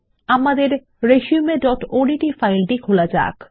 আমাদের resumeওডিটি ফাইল খোলা যাক